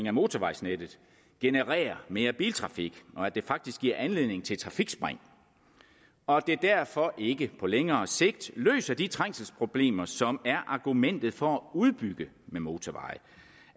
af motorvejsnettet genererer mere biltrafik og at det faktisk giver anledning til trafikspring og at det derfor ikke på længere sigt løser de trængselsproblemer som er argumentet for at udbygge med motorveje